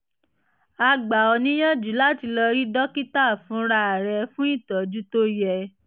a gbà ọ níyànjú láti lọ rí dókítà fúnra rẹ fún ìtọ́jú tó yẹ